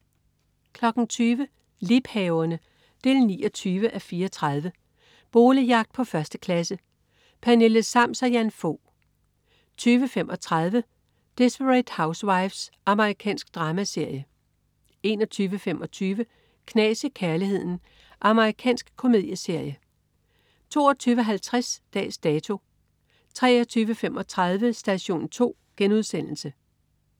20.00 Liebhaverne 29:34. Boligjagt på 1. klasse. Pernille Sams og Jan Fog 20.35 Desperate Housewives. Amerikansk dramaserie 21.25 Knas i kærligheden. Amerikansk komedieserie 22.50 Dags Dato 23.35 Station 2*